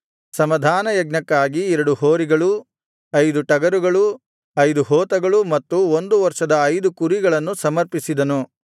ಸಮಾಧಾನಯಜ್ಞಕ್ಕಾಗಿ ಎರಡು ಹೋರಿಗಳು ಐದು ಟಗರುಗಳು ಐದು ಹೋತಗಳು ಮತ್ತು ಒಂದು ವರ್ಷದ ಐದು ಕುರಿಗಳನ್ನು ಸಮರ್ಪಿಸಿದನು